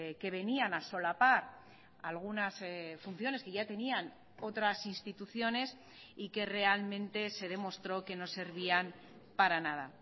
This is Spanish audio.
que venían a solapar algunas funciones que ya tenían otras instituciones y que realmente se demostró que no servían para nada